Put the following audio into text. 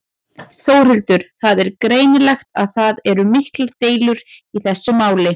Þórhildur: Það er greinilegt að það eru miklar deilur í þessu máli?